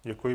Děkuji.